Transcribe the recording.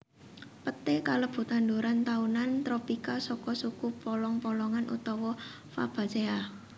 Peté kalebu tanduran taunan tropika saka suku polong polongan utawa Fabaceae